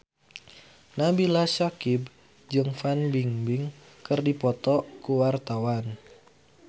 Nabila Syakieb jeung Fan Bingbing keur dipoto ku wartawan